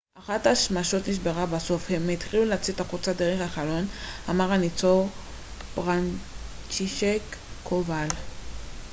אחת השמשות נשברה בסוף והם התחילו לצאת החוצה דרך החלון אמר הניצול פרנצ'ישק קובאל